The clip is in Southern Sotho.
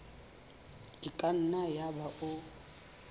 e ka nna yaba o